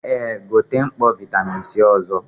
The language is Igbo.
Eh, gote mkpọ vitamin C ọzọ